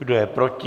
Kdo je proti?